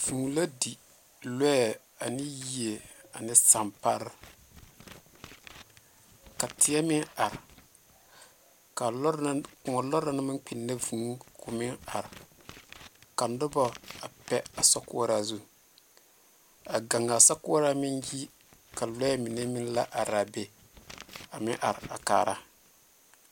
Vũũ la di lͻԑ ane yie ane sampare. Ka teԑ meŋ are ka lͻre na kõͻ lͻre na naŋ maŋ kpinne vũũ koo meŋ are. Ka noba a pԑ a sokoͻraa zu. A gaŋaa sokoͻraa meŋ yi ka lͻԑ mine meŋ la araa be a meŋ are a kaara.